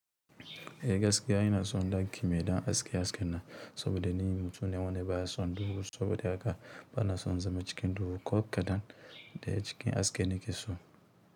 Eh gaskiya ina son dangin mai dan aske asken na, saboda nimin tuni wani baya son duhu saboda haka bana son zama cikin duhu ko kaɗan da ya cikin aske nike so.